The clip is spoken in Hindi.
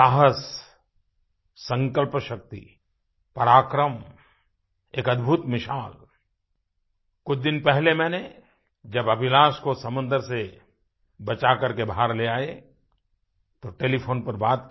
साहस संकल्पशक्ति पराक्रम एक अद्भुत मिसाल कुछ दिन पहले मैंने जब अभिलाष को समुंदर से बचा करके बाहर ले आये तो टेलीफोन पर बात की